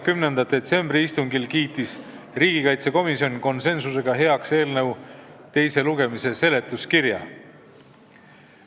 10. detsembril peetud istungil kiitis komisjon konsensusega heaks eelnõu teise lugemise seletuskirja.